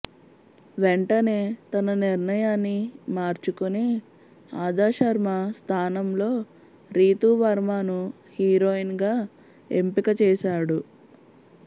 వెంటనే తన నిర్ణయాన్ని మార్చుకుని అదా శర్మ స్థానంలో రీతూ వర్మను హీరోయిన్గా ఎంపిక చేశాడు